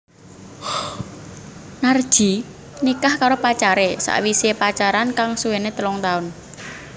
Narji nikah karo pacaré sawisé pacaran kang suwené telung taun